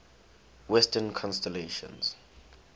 western constellations